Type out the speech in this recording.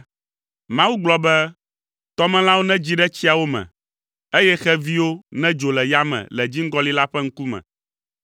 Mawu gblɔ be, “Tɔmelãwo nedzi ɖe tsiawo me, eye xeviwo nedzo le yame le dziŋgɔli la ƒe ŋkume.”